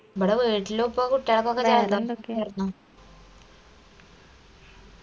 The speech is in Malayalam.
ഇബ്‌ട വീട്ടിലു ഇപ്പൊ കുട്ടിയാൾക്കൊക്കെ